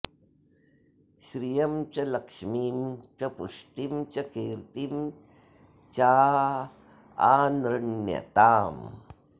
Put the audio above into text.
श्रियं च लक्ष्मिं च पुष्टिं च कीर्तिं॑ चाऽऽनृ॒ण्यताम्